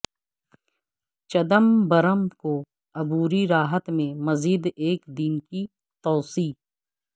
چدمبرم کو عبوری راحت میں مزید ایک دن کی توسیع